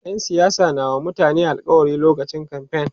ƴan siyasa na wa mutane alkawali lokacin kamfain